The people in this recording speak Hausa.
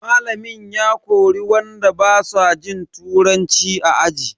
Malamin ya kori wanda basu jin turanci a aji.